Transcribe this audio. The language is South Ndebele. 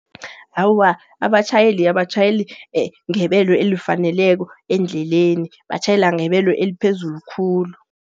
Awa abatjhayeli, abatjhayeli ngebelo elifaneleko endleleni. Batjhayela ngebelo eliphezulu khulu.